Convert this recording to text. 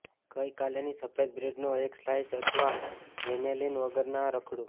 ગઇકાલેની સફેદ બ્રેડનો એક સ્લાઇસ અથવા વેનીલીન વગરના રખડુ